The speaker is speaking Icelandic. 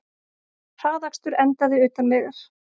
Hraðakstur endaði utan vegar